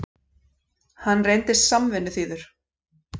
Hann reyndist samvinnuþýður.